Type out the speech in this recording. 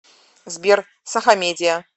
сбер сахамедиа